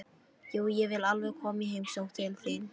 Jú, ég vil alveg koma í heimsókn til þín.